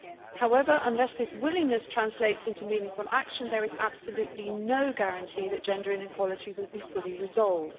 However, unless this willingness translates into meaningful action there is absolutely no guarantee that gender inequality will be fully resolved.